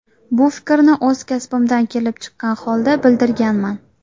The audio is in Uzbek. Bu fikrni o‘z kasbimdan kelib chiqqan holda bildirganman.